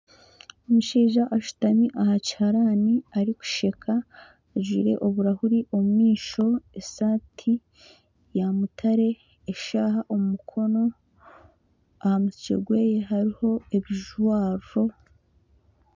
Omushaija ashutami aha kiharani arikusheka ajwaire oburahuri omu maisho esaati ya mutare eshaaha omu mukono aha mutwe gwe hariho ebijwaro.